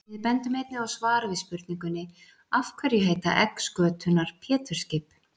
Við bendum einnig á svar við spurningunni Af hverju heita egg skötunnar Pétursskip?